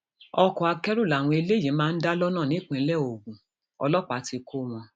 ọkọ akẹrù làwọn eléyìí máa ń dá lọnà nípínlẹ ogun ọlọpàá ti kọ wọn